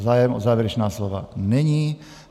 Zájem o závěrečná slova není.